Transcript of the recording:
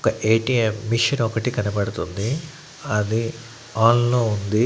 ఒక ATM machine ఒకటి కనపడుతుంది అది అన్ లో ఉంది.